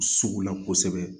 Sugu la kosɛbɛ